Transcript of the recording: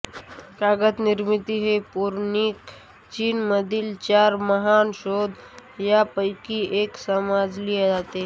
कागद निर्मिती ही पौराणिक चीन मधील चार महान शोध या पैकी एक समजली जाते